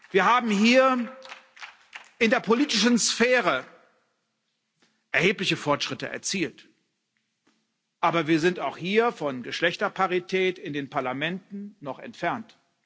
Wir haben hier in der politischen Sphäre erhebliche Fortschritte erzielt, aber wir sind auch hier von Geschlechterparität in den Parlamenten noch entfernt.